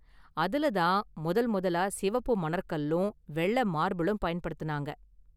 அதுல தான் முதல் முதலா சிவப்பு மணற்கல்லும் வெள்ள மார்பிளும் பயன்படுத்துனாங்க.